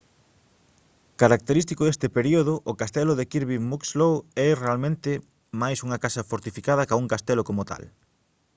característico deste período o castelo de kirby muxloe é realmente máis unha casa fortificada ca un castelo como tal